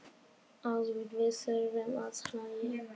Afþvíað við þurfum að hlæja.